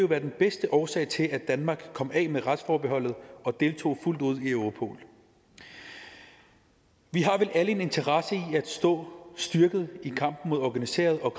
være den bedste årsag til at danmark komme af med retsforbeholdet og deltog fuldt ud i europol vi har vel alle en interesse i at stå styrket i kampen mod organiseret og